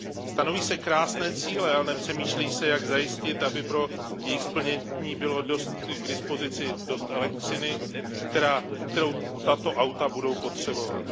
Stanoví se krásné cíle, ale nepřemýšlí se, jak zajistit, aby pro jejich splnění bylo k dispozici dost elektřiny, kterou tato auta budou potřebovat.